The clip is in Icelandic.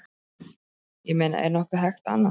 Ég meina er nokkuð hægt annað?